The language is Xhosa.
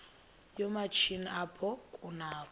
yoomatshini apho kunakho